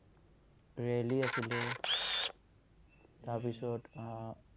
rally আছিলে। তাৰ পিছত, উম